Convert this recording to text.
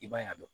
I b'a ye